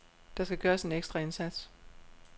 Der skal gøres en ekstra indsats.